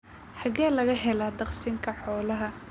Xagee laga helaa daaqsinka xoolaha?